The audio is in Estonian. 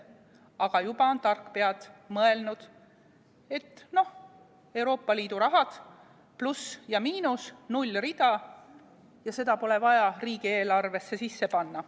Aga juba on tarkpead mõelnud, et noh, Euroopa Liidu rahad, pluss ja miinus, nullrida ja seda pole vaja riigieelarvesse sisse panna.